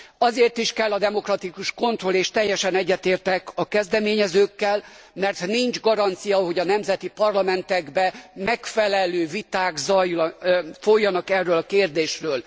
Azért is kell a demokratikus kontroll és teljesen egyetértek a kezdeményezőkkel mert nincs garancia, hogy a nemzeti parlamentekben megfelelő viták folynak erről a kérdésről.